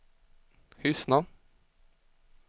Hyssna